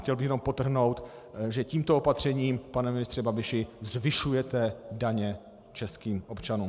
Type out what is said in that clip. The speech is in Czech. Chtěl bych jenom podtrhnout, že tímto opatřením, pane ministře Babiši, zvyšujete daně českým občanům.